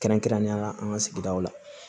Kɛrɛnkɛrɛnnenya la an ka sigidaw la